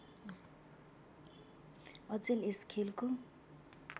अचेल यस खेलको